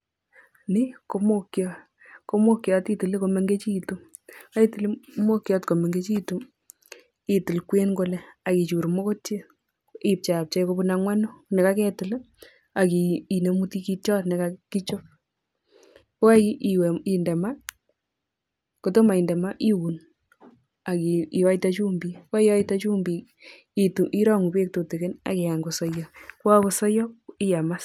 N i ko muhogiot, ko muhogiot itile komengechitu, ngo kaitil muhogiot komengechitu ak kichuur moketiet ipcheapchea konyil angwanu nekaketil ak kinemu tigitiot nekakichop. Kokaiwai inde maa, kotomo inde maa iuun ak kioite chumbik, ko kaiote chumbek irangte beek tutigin iun ak kikany kosoiyo, ko kakosaiyo iam as.